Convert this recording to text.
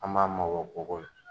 An b'a mabɔ kogo la